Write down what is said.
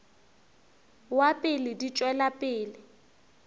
wa pele di tšwela pele